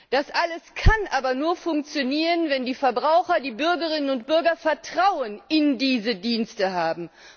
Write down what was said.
Das alles kann aber nur funktionieren, wenn die Verbraucher, die Bürgerinnen und Bürger Vertrauen in diese Dienste haben.